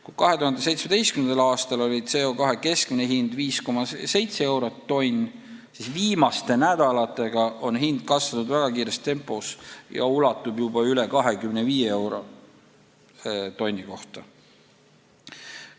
Kui 2017. aastal oli CO2 keskmine hind 5,7 eurot tonn, siis viimaste nädalatega on hind kasvanud väga kiires tempos ja ulatub juba üle 25 euro tonni kohta.